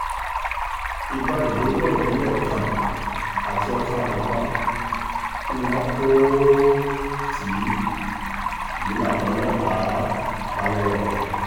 ìbọn ìléwọ́ ìbílẹ̀ kan àti ọta ìbọn tí wọn kò um tì í yín làwọn ọlọ́pàá um bá lọ́wọ́ wọn